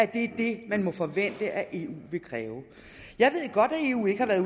det man må forvente at eu vil kræve jeg ved godt at eu ikke har været